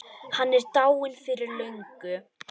Hann er dáinn fyrir löngu.